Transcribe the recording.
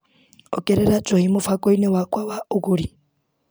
Ongerera njohi mũbango-inĩ wakwa wa ũgũri.